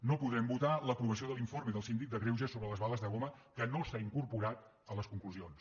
no podrem votar l’aprovació de l’informe del síndic de greuges sobre les bales de goma que no s’ha incorporat a les conclusions